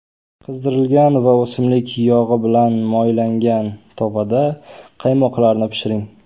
Qizdirilgan va o‘simlik yog‘i bilan moylangan tovada quymoqlarni pishiring.